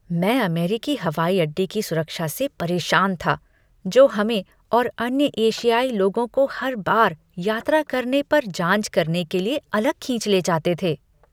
मैं अमेरिकी हवाई अड्डे की सुरक्षा से परेशान था, जो हमें और अन्य एशियाई लोगों को हर बार यात्रा करने पर जाँच करने के लिए अलग खींच ले जाते थे।